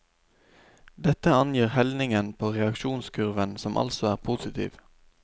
Dette angir helningen på reaksjonskurven, som altså er positiv.